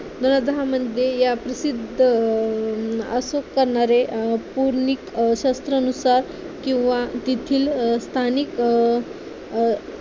मध्ये या प्रसिद्ध असं करणारे पूर्णिक शास्त्रानुसार किव्हा तेथील स्थानिक